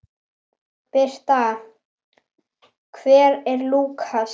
Birta: Hver er Lúkas?